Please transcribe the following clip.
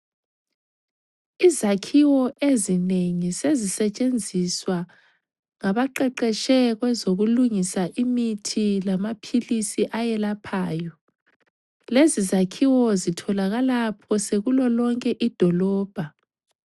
Izakhiwo ezinengi sezisetshenziswa ngabaqeqetshe kwezokulungisa imithi lamaphilisi ayelaphayo. Lezi zakhiwo zitholakala phose kulolonke idolobha.